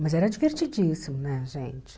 Mas era divertidíssimo, né, gente?